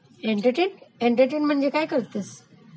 एटर्टेन्ट, करते म्हणेज काय करतेस?